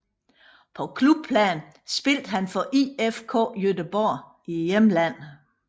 På klubplan spillede han for IFK Göteborg i hjemlandet